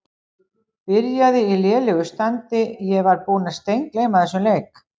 Byrjaði í lélegu standi Ég var búinn að steingleyma þessum leik.